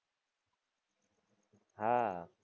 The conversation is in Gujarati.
હાં